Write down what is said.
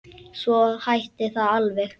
Svo hætti það alveg.